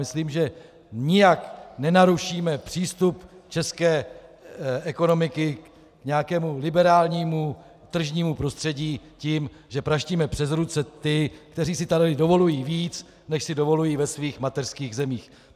Myslím, že nijak nenarušíme přístup české ekonomiky k nějakému liberálnímu tržnímu prostředí tím, že praštíme přes ruce ty, kteří si tady dovolují více, než si dovolují ve svých mateřských zemích.